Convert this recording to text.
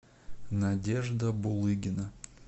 надежда булыгина